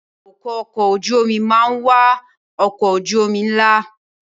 Awakọ̀ ọkọ̀ ojú omi máa ń wà ọkọ̀ ojú omi ńlá